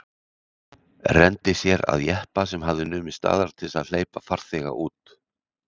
Renndi sér að jeppa sem hafði numið staðar til að hleypa farþega út.